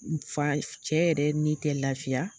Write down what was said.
N fa cɛ yɛrɛ ni te lafiya